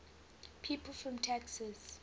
people from texas